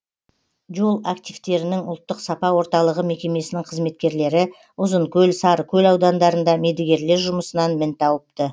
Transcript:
жол активтерінің ұлттық сапа орталығы мекемесінің қызметкерлері ұзынкөл сарыкөл аудандарында мердігерлер жұмысынан мін тауыпты